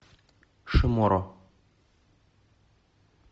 шиморо